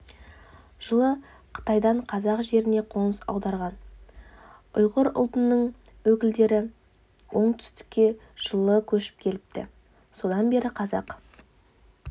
жылы қытайдан қазақ жеріне қоныс аударған ұйғыр ұлтының өкілдері оңтүстікке жылы көшіп келіпті содан бері қазақ